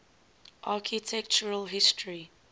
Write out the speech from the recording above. architectural history